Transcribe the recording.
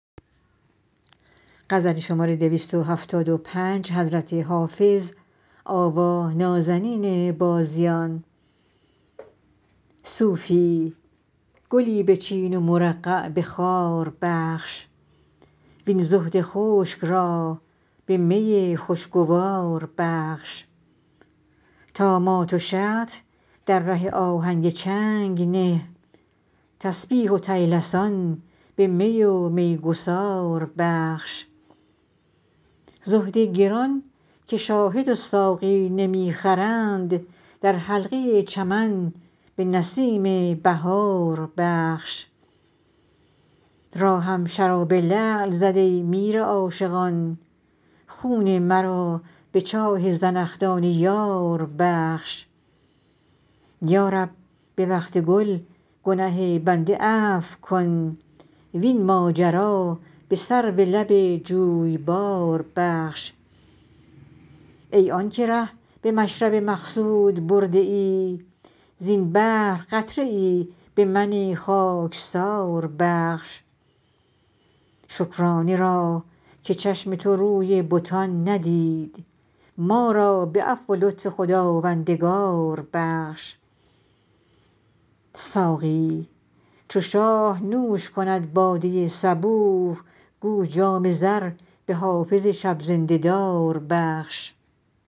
صوفی گلی بچین و مرقع به خار بخش وین زهد خشک را به می خوشگوار بخش طامات و شطح در ره آهنگ چنگ نه تسبیح و طیلسان به می و میگسار بخش زهد گران که شاهد و ساقی نمی خرند در حلقه چمن به نسیم بهار بخش راهم شراب لعل زد ای میر عاشقان خون مرا به چاه زنخدان یار بخش یا رب به وقت گل گنه بنده عفو کن وین ماجرا به سرو لب جویبار بخش ای آن که ره به مشرب مقصود برده ای زین بحر قطره ای به من خاکسار بخش شکرانه را که چشم تو روی بتان ندید ما را به عفو و لطف خداوندگار بخش ساقی چو شاه نوش کند باده صبوح گو جام زر به حافظ شب زنده دار بخش